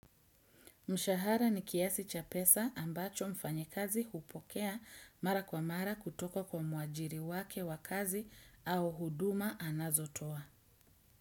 Mshahara ni kiasi cha pesa ambacho mfanyikazi hupokea mara kwa mara kutoka kwa muajiri wake wakazi au huduma anazotoa.